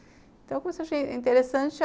Então eu comecei a achar interessante.